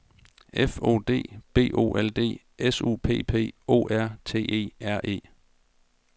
F O D B O L D S U P P O R T E R E